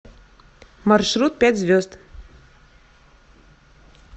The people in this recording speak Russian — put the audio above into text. маршрут пять звезд